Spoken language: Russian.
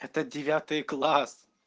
это девятый класс